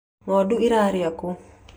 Ng'ondu irĩa kũ